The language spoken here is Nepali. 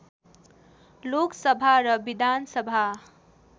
लोकसभा र विधानसभा